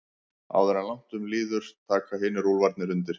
Áður en langt um líður taka hinir úlfarnir undir.